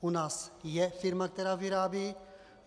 U nás je firma, která vyrábí.